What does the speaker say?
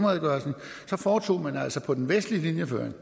redegørelsen foretog man altså på den vestlige linjeføring